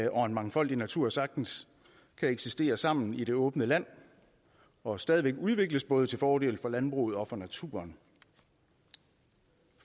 og en mangfoldig natur sagtens kan eksistere sammen i det åbne land og stadig væk udvikles både til fordel for landbruget og for naturen